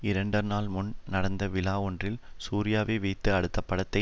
இரண்டு நாள் முன் நடந்த விழாவொன்றில் சூர்யாவை வைத்து அடுத்த படத்தை